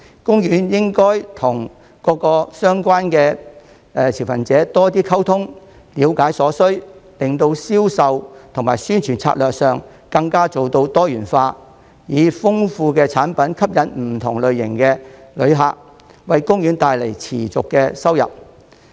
公園應與各相關持份者多溝通，了解所需，令銷售及宣傳策略上更能做到多元化，以豐富的產品吸引不同類型的旅客，為公園帶來持續收入。